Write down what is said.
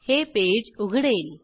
हे पेज उघडेल